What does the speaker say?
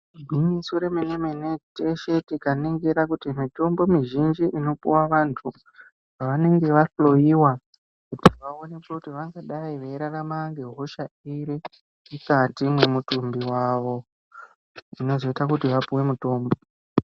Igwinyiso remenemene, teshe tikaningira kuti mitombo inopiwa vantu pevanenge vahloyiwa vaoneke kuti vanodai veirarama ngehosha iri mukati mwemutumbi wawo zvinozoite kuti vapiwe mutombo.